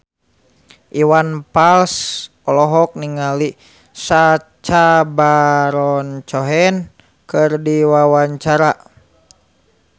Iwan Fals olohok ningali Sacha Baron Cohen keur diwawancara